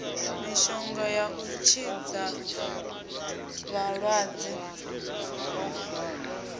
mishonga ya u tshidza vhalaxwa